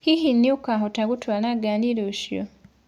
Hihi nĩũkahota gũtwara ngarĩ rũcĩo?